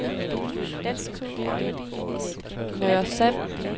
Nørresand